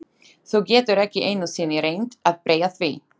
Þú getur ekki einu sinni reynt að breyta því.